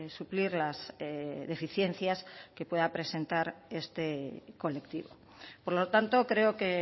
suplir las deficiencias que pueda presentar este colectivo por lo tanto creo que